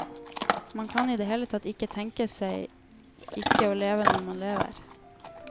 Man kan i det hele tatt ikke tenke seg ikke å leve når man lever.